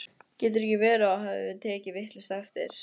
Getur ekki verið að þú hafir tekið vitlaust eftir?